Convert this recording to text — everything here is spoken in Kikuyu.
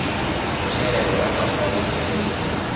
mucere ũrabatara gũitiririo